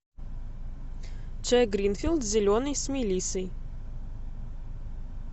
чай гринфилд зеленый с мелиссой